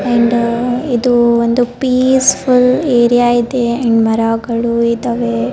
End ಇದು ಒಂದು peaceful area ಇದೆ ಎಂಡ್ ಮರಗಳು ಇದಾವೆ .